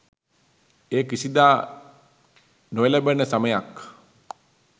එය කිසිදා නොඑළඹෙන සමයක්